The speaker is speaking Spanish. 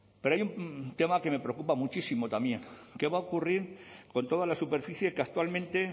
pero hay un tema que me preocupa muchísimo también qué va a ocurrir con toda la superficie que actualmente